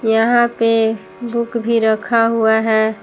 यहां पे बुक भी रखा हुआ है।